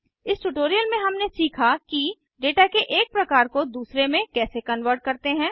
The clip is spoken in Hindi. इस ट्यूटोरियल में हमने सीखा कि डेटा के एक प्रकार को दूसरे में कैसे कन्वर्ट करते हैं